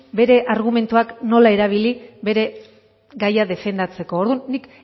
bere argumentuak nola erabili bere gaia defendatzeko orduan nik